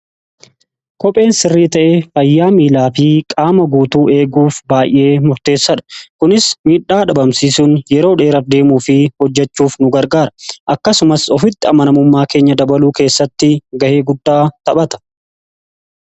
kopheen sirrii ta'ee fayyaa miilaa fi qaama guutuu eeguuf baay'ee murteessadha kunis miidhaa dhabamsiisuun yeroo dheeraf deemuu fi hojjechuuf nu gargaara. akkasumas ofitti amanamummaa keenya dabaluu keessatti ga'ee guddaa taphata.